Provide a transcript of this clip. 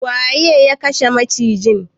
Waye ya kashe macijin?